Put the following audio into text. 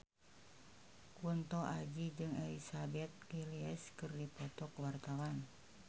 Kunto Aji jeung Elizabeth Gillies keur dipoto ku wartawan